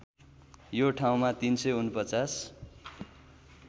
यो ठाउँमा ३४९